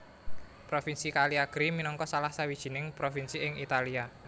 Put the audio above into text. Provinsi Cagliari minangka salah sawijining provinsi ing Italia